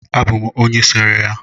ọ bụ m sere ya